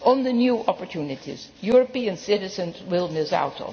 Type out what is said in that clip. On the new opportunities, European citizens will miss